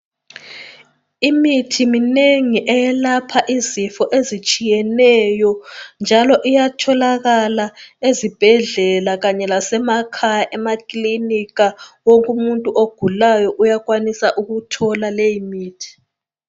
Imithi minengi eyelapha izifo ezitshiyeneyo, njalo iyatholakala ezibhedlela kanye lasemakhaya emakilinika wonkumuntu ogulayo uyakwanisa ukuthola leyimithi.